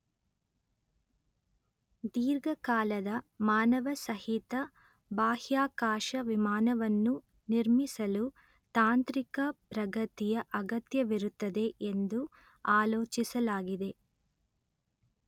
ದೀರ್ಘಕಾಲದ ಮಾನವಸಹಿತ ಬಾಹ್ಯಾಕಾಶ ವಿಮಾನವನ್ನು ನಿರ್ಮಿಸಲು ತಾಂತ್ರಿಕ ಪ್ರಗತಿಯ ಅಗತ್ಯವಿರುತ್ತದೆ ಎಂದು ಆಲೋಚಿಸಲಾಗಿದೆ